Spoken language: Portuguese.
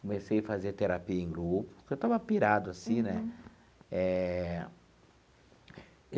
Comecei a fazer terapia em grupo, porque eu estava pirado assim, né? Eh.